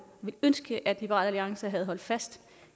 ville ønske at liberal alliance havde holdt fast